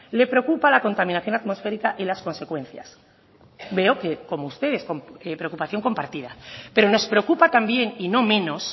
le preocupa la contaminación atmosférica y las consecuencias veo que como ustedes preocupación compartida pero nos preocupa también y no menos